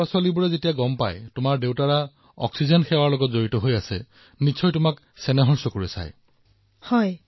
যেতিয়া তোমাৰ বন্ধুবৰ্গই গম পায় যে তোমাৰ দেউতাই অক্সিজেন পৰিবহণৰ সৈতে জড়িত তেতিয়া তোমাকো খুব আদৰেৰে চায় নহয় জানো